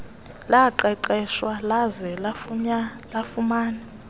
laqeqeshwa laze lafumana